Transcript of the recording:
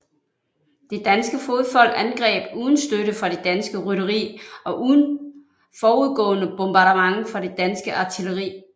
Det danske fodfolk angreb uden støtte fra det danske rytteri og uden forudgående bombardement fra det danske artilleri